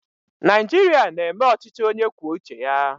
Naijiria na-eme ọchịchị onye kwuo uche ya